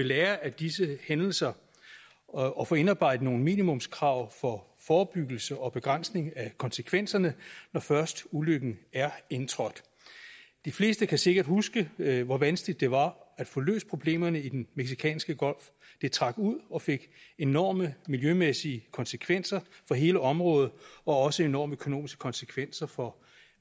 lære af disse hændelser og få indarbejdet nogle minimumskrav for forebyggelse og begrænsning af konsekvenserne når først ulykken er indtrådt de fleste kan sikkert huske hvor vanskeligt det var at få løst problemerne i den mexicanske golf det trak ud og fik enorme miljømæssige konsekvenser for hele området og også enorme økonomiske konsekvenser for